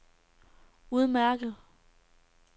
udmærket